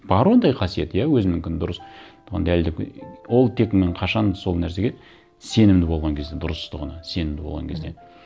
бар ондай қасиет иә өзінікінің дұрыстығын дәлелдеп ол тек мен қашан сол нәрсеге сенімді болған кезде дұрыстығына сенімді болған кезде мхм